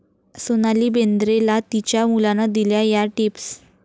सोनाली बेंद्रेला तिच्या मुलानं दिल्या 'या' टिप्स